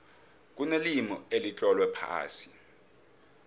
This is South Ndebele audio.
kunelimi elitlolwe phasi